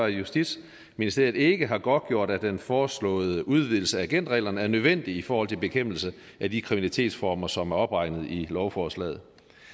at justitsministeriet ikke har godtgjort at den foreslåede udvidelse af agentreglerne er nødvendig i forhold til bekæmpelse af de kriminalitetsformer som er opregnet i lovforslaget